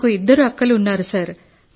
నాకు ఇద్దరు అక్కలు ఉన్నారు సార్